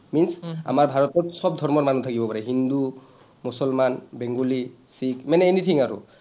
means আমাৰ ভাৰতত চব ধৰ্মৰ মানুহ থাকিব পাৰে। হিন্দু, মুছলমান, বেংগলী, শিখ মানে anything আৰু